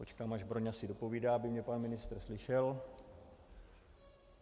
Počkám, až Broňa si dopovídá, aby mě pan ministr slyšel.